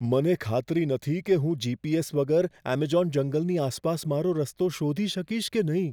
મને ખાતરી નથી કે હું જી.પી.એસ. વગર એમેઝોન જંગલની આસપાસ મારો રસ્તો શોધી શકીશ કે નહીં.